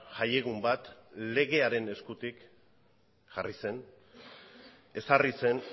jai egun bat legearen eskutik jarri zen ezarri zen